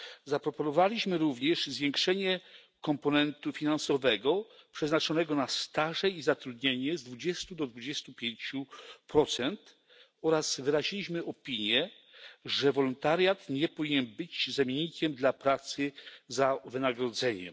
Zaproponowaliśmy również zwiększenie komponentu finansowego przeznaczonego na staże i zatrudnienie z 20 do 25 oraz wyraziliśmy opinię, że wolontariat nie powinien być zamiennikiem dla pracy za wynagrodzeniem.